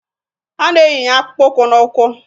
A na-eyinye akpụkpọ ụkwụ n'ụkwụ